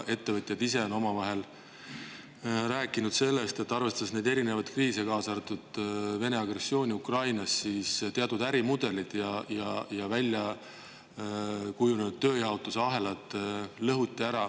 Ettevõtjad ise on omavahel rääkinud sellest, et arvestades kõiksugu kriise, kaasa arvatud Vene agressiooni Ukrainas, on teatud ärimudelid ja välja kujunenud tööjaotuse ahelad ära lõhutud.